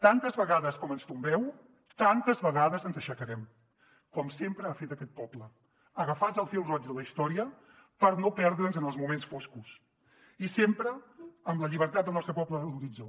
tantes vegades com ens tombeu tantes vegades ens aixecarem com sempre ha fet aquest poble agafats al fil roig de la història per no perdre’ns en els moments foscos i sempre amb la llibertat del nostre poble en l’horitzó